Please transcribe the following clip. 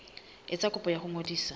etsa kopo ya ho ngodisa